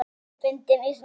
Búin að missa vitið?